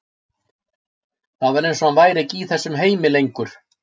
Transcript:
Það var eins og hann væri ekki í þessum heimi lengur.